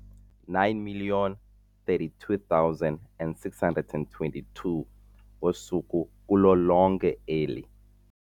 9 032 622 ngosuku kulo lonke eli.